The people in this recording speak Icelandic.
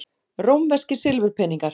Rómverskir silfurpeningar.